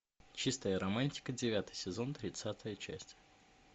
чистая романтика девятый сезон тридцатая часть